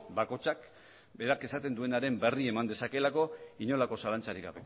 bakoitzak berak esaten duenaren berri eman dezakeelako inolako zalantzarik